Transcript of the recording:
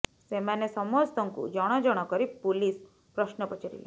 ସେମାନେ ସମସ୍ତଙ୍କୁ ଜଣ ଜଣ କରି ପୁଲିସ୍ ପ୍ରଶ୍ନ ପଚାରିଲା